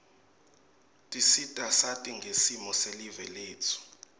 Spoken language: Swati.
tisita sati ngesimo selive letfu